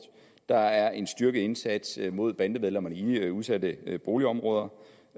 der er en styrket indsats mod bandemedlemmerne i udsatte boligområder